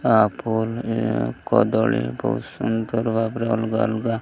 ଆ phone ଏ କଦଳୀ ବୋହୁତ ସୁନ୍ଦର ଭାବରେ ଅଲଗା ଅଲଗା --